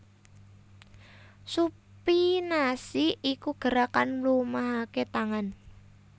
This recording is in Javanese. Supinasi iku gerakan mlumahaké tangan